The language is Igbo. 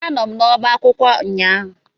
Anọ m n'ọba akwụkwọ ụnyaahụ